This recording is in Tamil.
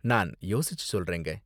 நான் யோசிச்சு சொல்றேங்க.